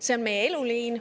See on meie eluliin.